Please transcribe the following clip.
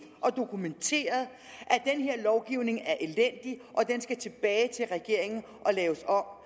og dokumenteret at lovgivning er elendig og den skal tilbage til regeringen og laves om